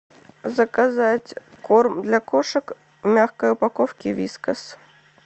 заказать корм для кошек в мягкой упаковке вискас